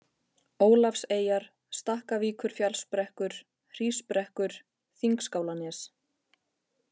Ólafseyjar, Stakkavíkurfjallsbrekkur, Hrísbrekkur, Þingskálanes